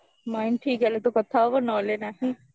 mind ଠିକ ହେଲେ କଥା ହବ ନହେଲେ ନାଇଁ